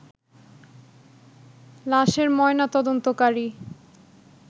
লাশের ময়না তদন্তকারী